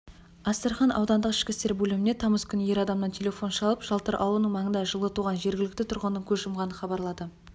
астрахан аудандық ішкі істер бөліміне тамыз күні ер адамнан телефон шалып жалтыр аулының маңында жылы туған жергілікті тұрғынның көз жұмғанын хабарлады